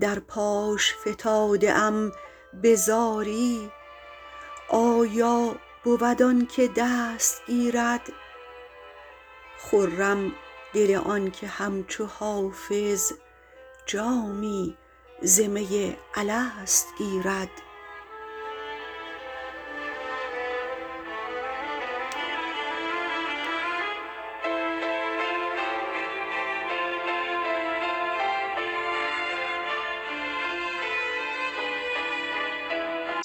در پاش فتاده ام به زاری آیا بود آن که دست گیرد خرم دل آن که همچو حافظ جامی ز می الست گیرد